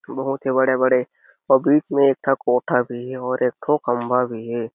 बहोत ही बड़े-बड़े पब्लिक में एक ठो कोठा भी हे अऊ एक ठो खंभा भी हे।